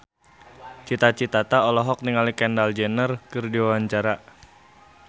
Cita Citata olohok ningali Kendall Jenner keur diwawancara